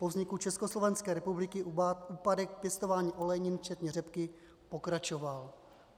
Po vzniku Československé republiky úpadek pěstování olejnin včetně řepky pokračoval.